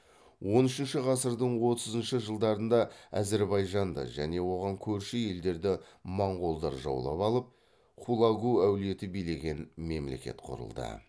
он үшінші ғасырдың отызыншы жылдарында әзірбайжанды және оған көрші елдерді моңғолдар жаулап алып хулагу әулеті билеген мемлекет құрылды